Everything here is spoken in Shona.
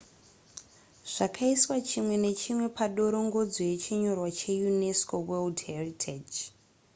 zvakaiswa chimwe nechimwe padorongodzo yechinyorwa cheunesco world heritage